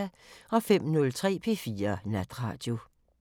05:03: P4 Natradio